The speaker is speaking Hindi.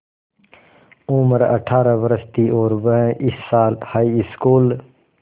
उम्र अठ्ठारह वर्ष थी और वह इस साल हाईस्कूल